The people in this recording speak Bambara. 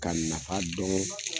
Ka nafa dɔn